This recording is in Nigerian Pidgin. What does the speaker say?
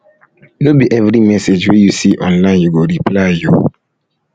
no be every message wey you see online you go reply o